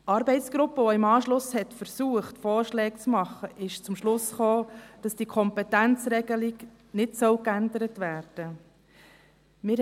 Die Arbeitsgruppe, die im Anschluss versuchte, Vorschläge zu machen, kam zum Schluss, dass diese Kompetenzregelung nicht geändert werden soll.